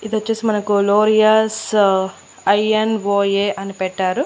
ఇదొచ్చేసి మనకు లోరియాస్ ఐ_ఎన్_ఓ_ఏ అని పెట్టారు.